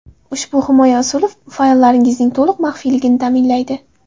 Ushbu himoya usuli fayllaringizning to‘liq maxfiyligini ta’minlaydi.